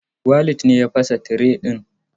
Walid ne ya fasa tire din.